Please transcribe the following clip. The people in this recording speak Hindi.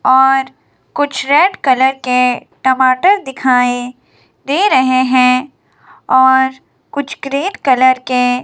और कुछ रेड कलर के टमाटर दिखाएं दे रहे हैं और कुछ ग्रे कलर के।